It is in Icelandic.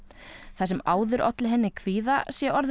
það sem áður olli henni kvíða sé orðið